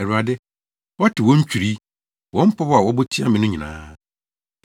Awurade, woate wɔn ntwirii, wɔn pɔw a wɔbɔ tia me no nyinaa,